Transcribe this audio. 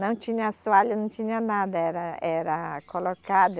Não tinha assoalho, não tinha nada, era, era colocado.